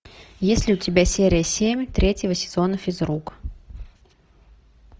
есть ли у тебя серия семь третьего сезона физрук